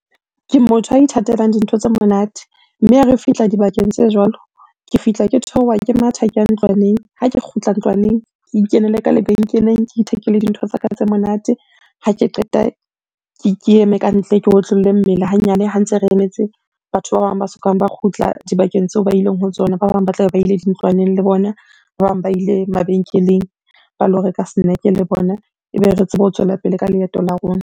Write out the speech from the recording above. Ke motho ya ithatelang dintho tse monate. Mme ha re fihla dibakeng tse jwalo, ke fihla ke theoha ke matha, ke ya ntlwaneng. Ha ke kgutla ntlwaneng, ke ikenele ka lebenkeleng, ke ithekele dintho tsa ka tse monate. Ha ke qeta ke eme ka ntle ke otlolle mmele hanyane ha ntse re emetse batho ba bang ba sokang ba kgutla dibakeng tseo ba ileng ho tsona. Ba bang ba tlabe ba ile dintlwaneng le bona, ba bang ba ile mabenkeleng ba lo reka snack-e le bona. Ebe re tsebe ho tswela pele ka leeto la rona.